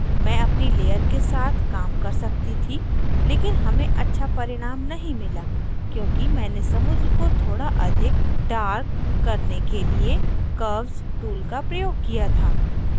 मैं अपनी layer के साथ काम कर सकती थी लेकिन हमें अच्छा परिणाम नहीं मिला क्योंकि मैंने समुद्र को थोड़ा अधिक darker करने के लिए curves tool का प्रयोग किया था